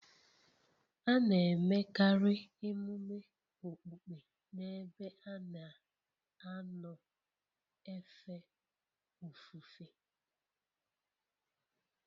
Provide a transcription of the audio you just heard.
A na-emekarị emume okpukpe n'ebe a na-anọ efe ofufe